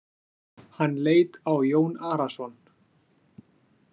Hann leit á Jón Arason.